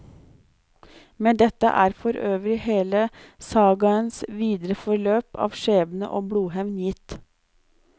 Med dette er for øvrig hele sagaens videre forløp av skjebne og blodhevn gitt.